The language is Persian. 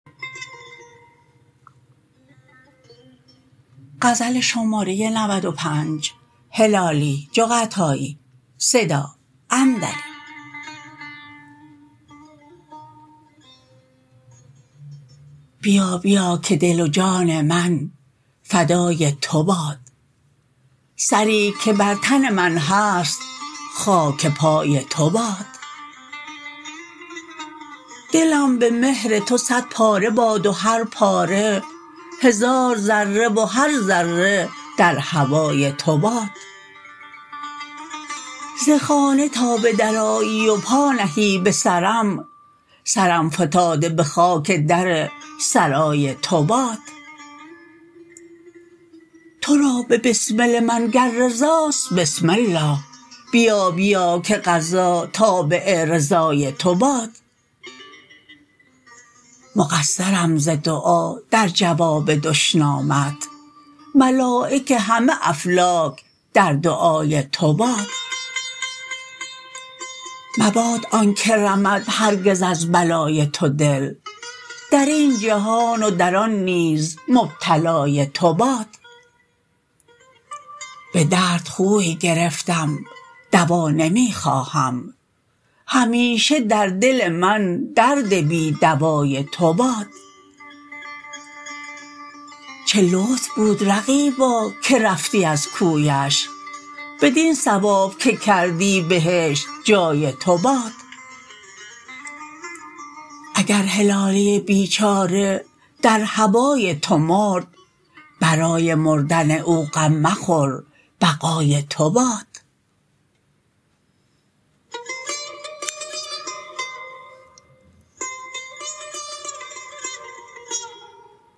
بیا بیا که دل و جان من فدای تو باد سری که بر تن من هست خاک پای تو باد دلم به مهر تو صد پاره باد و هر پاره هزار ذره و هر ذره در هوای تو باد ز خانه تا به در آیی و پا نهی به سرم سرم فتاده به خاک در سرای تو باد ترا به بسمل من گر رضاست بسم الله بیا بیا که قضا تابع رضای تو باد مقصرم ز دعا در جواب دشنامت ملایک همه افلاک در دعای تو باد مباد آنکه رمد هرگز از بلای تو دل درین جهان و در آن نیز مبتلای تو باد به درد خوی گرفتم دوا نمیخواهم همیشه در دل من درد بی دوای تو باد چه لطف بود رقیبا که رفتی از کویش بدین ثواب که کردی بهشت جای تو باد اگر هلالی بیچاره در هوای تو مرد برای مردن او غم مخور بقای تو باد